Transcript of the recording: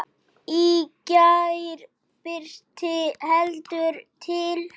Í gær birti heldur til.